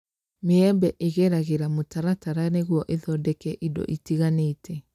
Maembe ĩgeragĩra mũtaratara nĩguo ĩthondeke indo ĩtiganĩte